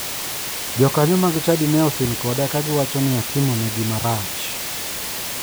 Jokanyo mag chadi ne osin koda ka giwacho ni atimo negi marach.